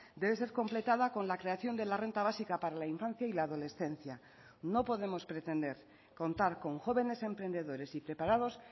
debe ser completada con la creación de la renta básica para la infancia y la adolescencia no podemos pretender contar con jóvenes emprendedores y preparados